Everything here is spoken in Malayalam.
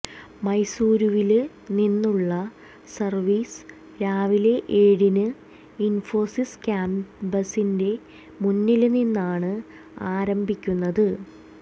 മൈസൂരുവില് നിന്നുള്ള സര്വീസ് രാവിലെ ഏഴിന് ഇന്ഫോസിസ് ക്യാമ്പസിന്റെ മുന്നില് നിന്നാണ് ആരംഭിക്കുന്നത്